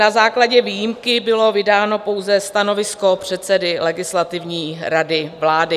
Na základě výjimky bylo vydáno pouze stanovisko předsedy Legislativní rady vlády.